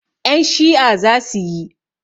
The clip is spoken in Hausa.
Ƴan Shi'a zasu yi